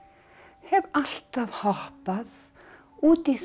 hef alltaf hoppað út í þá